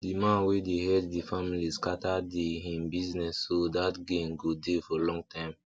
the man wey dey head the familyscatter the him businessso that gain go dey for long time